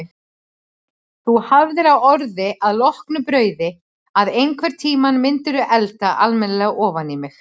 Þú hafðir á orði að loknu brauði að einhvern tímann mundirðu elda alminlega ofaní mig.